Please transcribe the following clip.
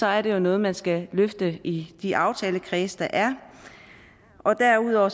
er det jo noget man skal løfte i de aftalekredse der er derudover